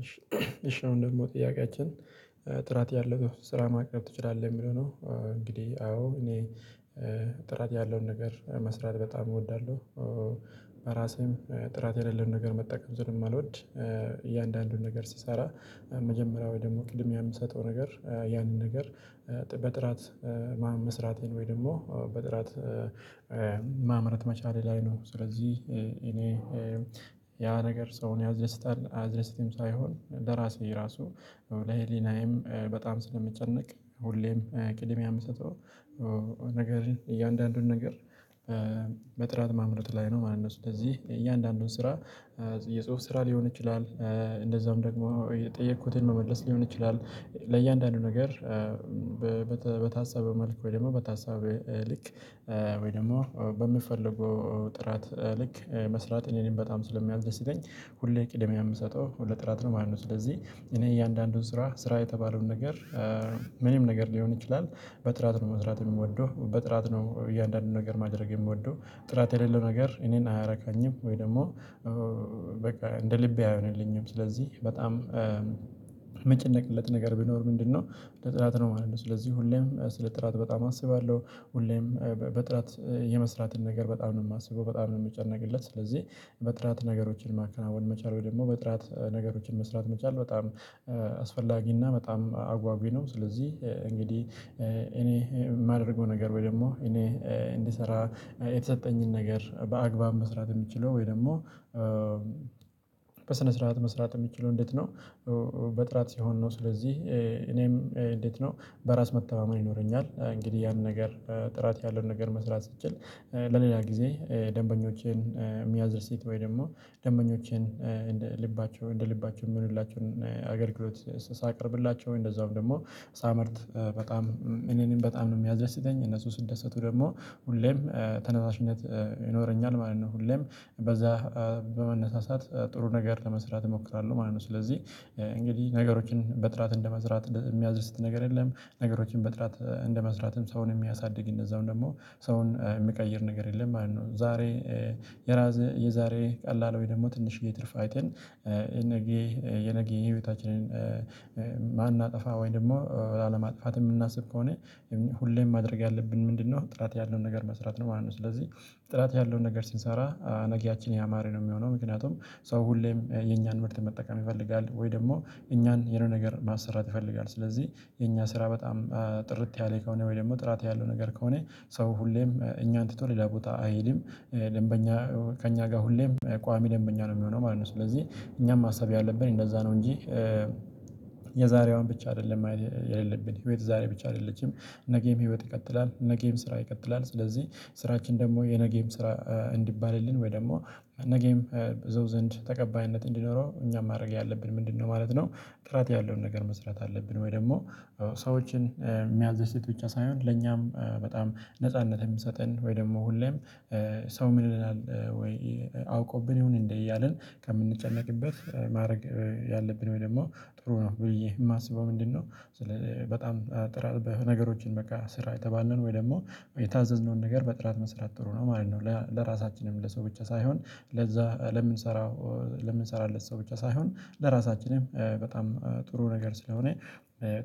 እሺ እሺ አሁን ደግሞ ጥያቄያችን ጥራት ያለው ስራ ማቅረብ ትችላለህ የሚለው ነው? እንግዲህ አዎ እኔ ጥራት ያለውን ነገር መስራት በጣም እወዳለሁ። በራሴም ጥራት የሌለውን ነገር መጠቀም ሰለማልወድ እያንዳንዱን ነገር ሲሰራ መጀመሪያው ደግሞ ቅድምያ ያምሰጠው ነገር ያንን ነገር በጥራት መስራቴን ወይ ደግሞ በጥራት ማምረት መቻሌ ላይ ነው። ስለዚህ እኔ ያ ነገር ሰውን ያስደስታል አያስደስትም ሳይሆን በራሴ ራሱ ለሄሊናዬም በጣም ስለሚጨነቅ ሁሌም ቅድም የምሰጠው ነገር እያንዳንዱን ነገር በጥራት ማምረት ላይ ነው ማለት ነው። ስለዚህ እያንዳንዱን ስራ የጽሁፍ ስራ ሊሆን ይችላል እንደዛም ደግሞ የጠየኩትን መመለስ ሊሆን ይችላል ለእያንዳንዱ ነገር በታሰበ መልኩ ወይ ደግሞ በታሰበ ልክ ወይ ደግሞ በምፈልገው ጥራት ልክ መስራት እኔን በጣም ስለሚያደስተኝ ሁሌ ቅድሚያ የምሰጠው ሁሌ ጥራት ነው ማለት ነው። ስለዚህ እኔ እያንዳንዱን ስራ ስራ የተባለውን ነገር ምንም ነገር ሊሆን ይችላል በጥራት ነው መስራት የምወደው በጥራት ነው እያንዳንዱን ነገር ማድረግ የምወደው ጥራት የሌለው ነገር እኔን አያረካኝም። ወይ ደግሞ በቃ እንደ ልቤ አይሆንልኝም ስለዚህ በጣም ምጨነቅለት ነገር ቢኖር ምንድነው? ለጥራት ነው ማለት ነው ስለዚህ ሁሌም ስለ ጥራት በጣም አስባለሁ ሁሌም በጥራት የመስራትን ነገር በጣም ነው የማስበው በጣም ነው የምጨነቅለት ስለዚህ በጥራት ነገሮችን ማከናወን መቻል ወይ ደግሞ በጥራት ነገሮችን መስራት መቻል በጣም በጣም አጓጊ ነው። ስለዚህ እንግዲህ እኔ የማደርገው ነገር ወይ ደግሞ እኔ እንድሰራ የተሰጠኝን ነገር በአግባብ መስራት የምችለው ወይ ደግሞ በስነ ስርዓት መስራት የሚችለው እንዴት ነው? በጥራት ሲሆን ነው ስለዚህ እኔም እንዴት ነው? በራስ መተማመን ይኖረኛል እንግዲህ ያንን ነገር ጥራት ያለውን ነገር መስራት ስችል ለሌላ ጊዜ ደንበኞቼን የሚያስደስት ወይ ደግሞ ደንበኞቼን እንደ ልባቸው እንደ ልባቸው የምንላቸውን አገልግሎት ሳቀርብላቸው እንደዛውም ደግሞ ሳመርት በጣም እኔንም በጣም ነው የሚያደስተኝ እነሱ ስደሰቱ ደግሞ ሁሌም ተነሳሽነት ይኖረኛል ማለት ነው። ሁሌም በዛ በመነሳሳት ጥሩ ነገር ለመስራት እሞክራለሁ ማለት ነው። ስለዚህ እንግዲህ ነገሮችን በጥራት እንደመዝራት የሚያስደስት ነገር የለም ነገሮችን በጥራት እንደመስራትም ሰውን የሚያሳድግ እንደዛውም ደግሞ ሰውን የሚቀይር ነገር የለም ማለት ነው። ዛሬ የዛሬ ቀላል ወይ ደግሞ ትንሽዬ ትርፍ አይተን የነገ የነገ የህይወታችንን አናጠፋ ወይም ደግሞ ላለማጥፋት የምናስብ ከሆነ ሁሌም ማድረግ ያለብን ምንድነው ጥራት ያለውን ነገር መስራት ነው ማለት ነው። ስለዚህ ጥራት ያለውን ነገር ሲንሰራ ነገያችን ያማረ ነው የሚሆነው። ምክንያቱም ሰው ሁሌም የኛን ምርት መጠቀም ይፈልጋል ወይ ደግሞ እኛን የሆነ ነገር ማሰራት ይፈልጋል። ስለዚህ የኛ ስራ በጣም ጥርት ያለ ከሆነ ወይ ደግሞ ጥራት ያለው ነገር ከሆነ ሰው ሁሌም እኛን ትቶ ሌላ ቦታ አይሄድም ደንበኛ ከእኛ ጋር ሁሌም ቋሚ ደንበኛ ነው የሚሆነው ማለት ነው። ስለዚህ እኛም ማሰብ ያለብን እንደዛ ነው እንጂ የዛሬዋን ብቻ አይደለም የሌለብን ህይወት ዛሬ ብቻ አይደለችም ነገም ህይወት ይቀጥላል። ነጌም ስራ ይቀጥላል። ስለዚህ ስራችን ደግሞ የነገም ስራ እንዲባልልን ወይ ደግሞ ነገም በሰው ዘንድ ተቀባይነት እንዲኖረው እኛ ማድረግ ያለብን ምንድነው? ማለት ነው ጥራት ያለውን ነገር መስራት አለብን። ወይ ደግሞ ሰዎችን የሚያስደስቱ ብቻ ሳይሆን ለኛም በጣም ነጻነት የምሰጠን ወይ ደግሞ ሁሌም ሰው ምን ይለናል? ወይ አውቆብን ይሁን እንዴ? እያልን ከምንጨነቅበት ማድረግ ያለብን ወይ ደግሞ ጥሩ ነው ብዬ የማስበው ምንድነው? በጣም ጥራት ነገሮችን በቃ ስራ የተባለን ወይ ደግሞ የታዘዝነውን ነገር በጥራት መስራት ጥሩ ነው ማለት ነው። ለራሳችንም ለሰው ብቻ ሳይሆን ለዛ ለምንሰራው ለምንሰራለት ሰው ብቻ ሳይሆን ለራሳችንም በጣም ጥሩ ነገር ስለሆነ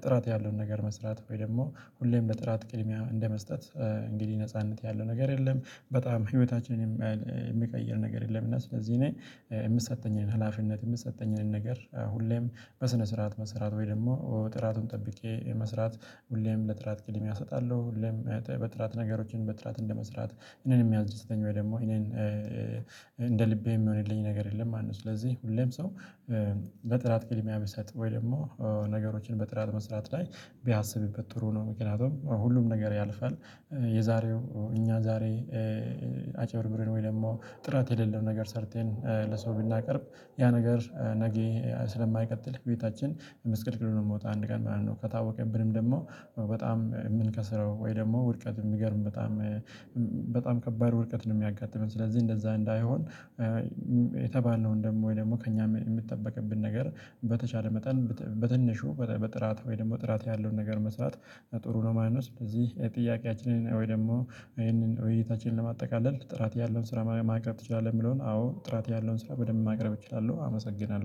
ጥራት ያለውን ነገር መስራት ወይ ደግሞ ሁሌም በጥራት ቅድሚያ እንደመስጠት እንግዲህ ነጻነት ያለው ነገር የለም። በጣም ህይወታችንን የሚቀይር ነገር የለም እና ስለዚህ እኔ የምሰጠኝን ህላፊነት የምሰጠኝን ነገር ሁሌም በስነ ስርዓት መስራት ወይ ደግሞ ጥራቱን ጠብቄ መስራት ሁሌም ለጥራት ቅድሚያ እሰጣለሁ። ሁሌም በጥራት ነገሮችን በጥራት እንደመስራት እኔን የሚያስደስተኝ ወይ ደግሞ እኔን እንደ ልቤ የሚሆንልኝ ነገር የለም ማለት ነው። ስለዚህ ሁሌም ሰው ለጥራት ቅድሚያ ብትሰጥ ወይም ደግሞ ነገሮችን በጥራት መስራት ላይ ቢያስብበት ጥሩ ነው። ምክንያቱም ሁሉም ነገር ያልፋል። የዛሬው እኛ ዛሬ አጭብርብርን ወይ ደግሞ ጥራት የሌለው ነገር ሰርተን ለሰው ብናቀርብ ያ ነገር ነገ ስለማይቀጥል ቤታችን መስቀልቅልን የምወጣ አንድ ቀን ማለት ነው። ከታወቀብንም ደግሞ በጣም የምንከስረው ወይ ደግሞ ውድቀት የሚገርም በጣም በጣም ከባድ ውድቀት ነው። የሚያጋጥመን ስለዚህ እንደዛ እንዳይሆን የተባለውን ደግሞ ወይ ደግሞ ከእኛ የምትጠበቅብን ነገር በተቻለ መጠን በትንሹ በጥራት ወይ ጥራት ያለውን ነገር መስራት ጥሩ ነው። ማነው ስለዚህ የጥያቄያችንን ወይ ደግሞ ይሄንን ወይ እይታችንን ለማጠቃለል ጥራት ያለውን ስራ ማቅረብ ትችላለህ? የሚለውን አዎ ጥራት ያለውን ስራ በደንብ ማቅረብ እችላለሁ አመሰግናለሁ